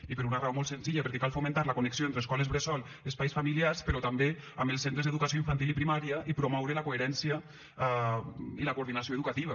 i per una raó molt senzilla perquè cal fomentar la connexió entre escoles bressol espais familiars però també amb els centres d’educació infantil i primària i promoure la coherència i la coordinació educativa